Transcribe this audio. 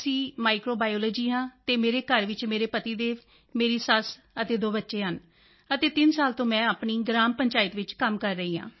micro biology ਹਾਂ ਅਤੇ ਮੇਰੇ ਘਰ ਵਿੱਚ ਮੇਰੇ ਪਤੀ ਦੇਵ ਮੇਰੀ ਸੱਸ ਅਤੇ ਦੋ ਬੱਚੇ ਹਨ ਅਤੇ ਤਿੰਨ ਸਾਲ ਤੋਂ ਮੈਂ ਆਪਣੀ ਗ੍ਰਾਮ ਪੰਚਾਇਤ ਵਿੱਚ ਕੰਮ ਕਰ ਰਹੀ ਹਾਂ